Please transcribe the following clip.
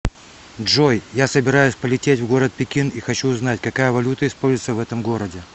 джой я собираюсь полететь в город пекин и хочу узнать какая валюта используется в этом городе